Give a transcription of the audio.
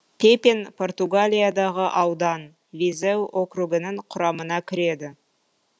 пепин португалиядағы аудан визеу округінің құрамына кіреді